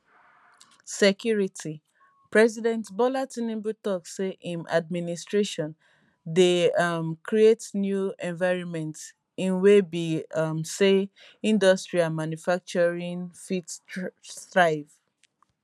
security president bola tinubu tok say im adminstration dey um create new environment in wey be um say industry and manufacturing fit thrive